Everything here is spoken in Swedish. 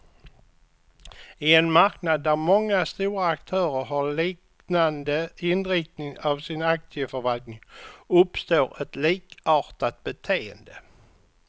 I en marknad där många stora aktörer har liknande inriktning av sin aktieförvaltning, uppstår ett likartat beteende.